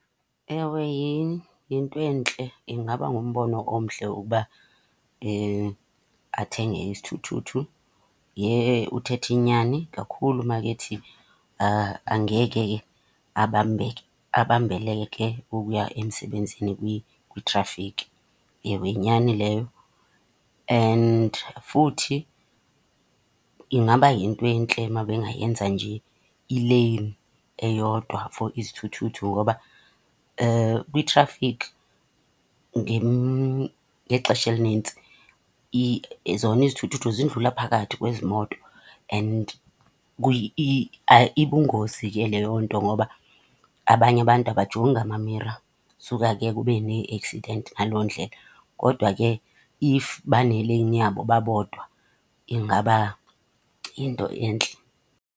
Ewe, yintwentle. Ingaba ngumbono omhle ukuba athenge isithuthuthu. Yhe uthetha inyani kakhulu makethi angeke abambeke, abambeleke ukuya emsebenzini kwitrafikhi. Ewe, yinyani leyo. And futhi ingaba yinto entle uma bengayenza nje ileyini eyodwa for izithuthuthu, ngoba kwitrafikhi ngexesha elinintsi zona izithuthuthu zindlula phakathi kwezimoto. And ibungozi ke leyo nto ngoba abanye abantu abajongi amamira, suka ke kube nee-accident ngaloo ndlela. Kodwa ke if baneleyini yabo babodwa ingaba yinto entle.